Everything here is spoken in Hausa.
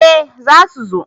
Eh za su zo